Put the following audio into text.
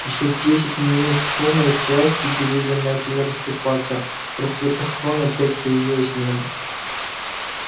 ещё десять минут шума и тряски и деревья начали расступаться в просветах крон опять появилось небо